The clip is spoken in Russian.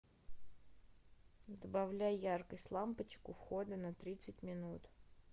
добавляй яркость лампочек у входа на тридцать минут